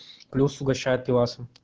плюс угощают пивасом